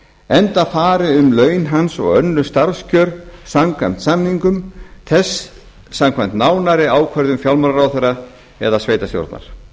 enda fari um laun hans og önnur starfskjör samkvæmt samningum þess samkvæmt nánari ákvörðun fjármálaráðherra eða sveitarstjórnar